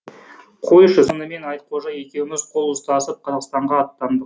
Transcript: қойшы сонымен айтқожа екеуміз қол ұстасып қазақстанға аттандық